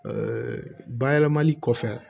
bayɛlɛmali kɔfɛ